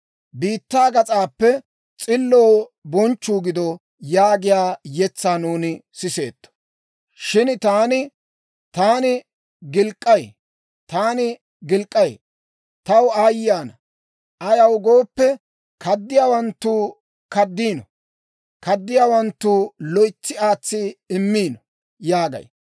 Biittaa gas'aappe, «S'illoo bonchchuu gido» yaagiyaa yetsaa nuuni siseetto. Shin taani, «Taani gilk'k'ay! Taani gilk'k'ay! Taw aayye ana! Ayaw gooppe, kaddiyaawanttuu kaddiino; kaddiyaawanttuu loytsi aatsi immiino» yaagay.